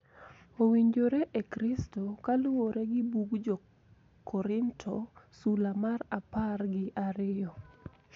Owinjore e Kristo kaluwore gi bug Jo-Korinto sula mar apar gi ariyo.